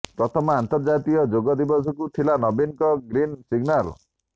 ପ୍ରଥମ ଅନ୍ତର୍ଜାତୀୟ ଯୋଗ ଦିବସକୁ ଥିଲା ନବୀନଙ୍କ ଗ୍ରୀନ ସିଗନାଲ